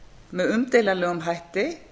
með umdeilanlegum hætti